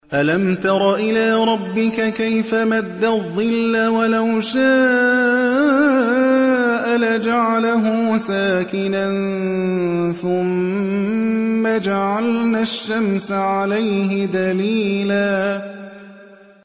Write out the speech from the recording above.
أَلَمْ تَرَ إِلَىٰ رَبِّكَ كَيْفَ مَدَّ الظِّلَّ وَلَوْ شَاءَ لَجَعَلَهُ سَاكِنًا ثُمَّ جَعَلْنَا الشَّمْسَ عَلَيْهِ دَلِيلًا